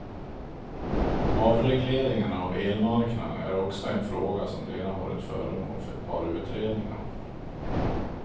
Avregleringen av elmarknaden är också en fråga som redan varit föremål för ett par utredningar.